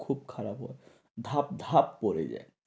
তা খুব খারাপ ও ভাপ ভাপ পরে যায়।